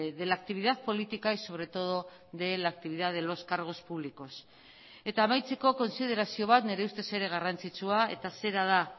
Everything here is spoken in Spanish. de la actividad política y sobre todo de la actividad de los cargos públicos eta amaitzeko kontsiderazio bat nire ustez ere garrantzitsua eta zera da